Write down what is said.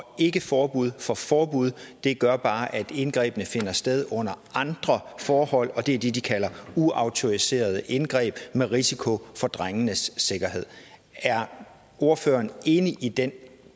ikke forbud for forbud gør bare at indgrebene finder sted under andre forhold og det er det de kalder uautoriserede indgreb med risiko for drengenes sikkerhed er ordføreren enig i den